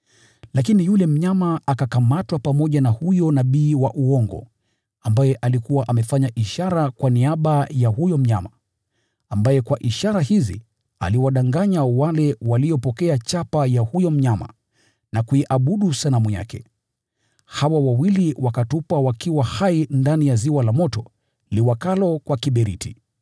Lakini yule mnyama akakamatwa pamoja na huyo nabii wa uongo ambaye alikuwa amefanya ishara kwa niaba ya huyo mnyama, ambaye kwa ishara hizi aliwadanganya wale waliopokea chapa ya huyo mnyama na kuiabudu sanamu yake. Hawa wawili wakatupwa wakiwa hai ndani ya ziwa la moto liwakalo kwa kiberiti.